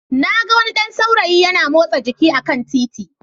Na ga wani ɗan saurayi yana motsa jiki a kan titi